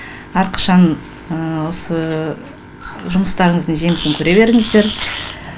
әрқашан осы жұмыстарыңыздың жемісін көре беріңіздер